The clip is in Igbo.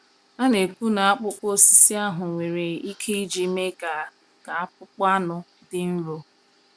A na-ekwu na akpụkpọ osisi ahụ nwere ike iji mee ka ka akpụkpọ anụ dị nro.